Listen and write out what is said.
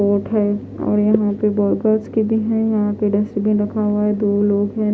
Road और यहाँ पे के भी है यहाँ डस्टबिन रखा हुआ दो लोग है।